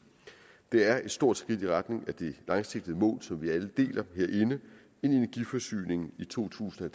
det er et stort skridt i retning af det langsigtede mål som vi alle deler herinde en energiforsyning i to tusind og